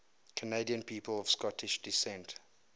canadian people of scottish descent